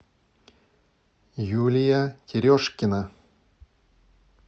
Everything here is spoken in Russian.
юлия терешкина